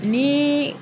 Ni